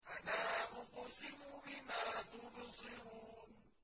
فَلَا أُقْسِمُ بِمَا تُبْصِرُونَ